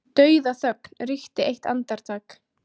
Dauðaþögn ríkti eitt andartak.